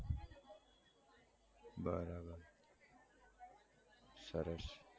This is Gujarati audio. બરાબર સરસ